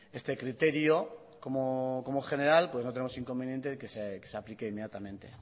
este criterio como general no tenemos inconveniente en que se aplique inmediatamente